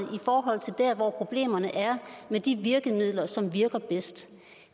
der hvor problemerne er med de virkemidler som virker bedst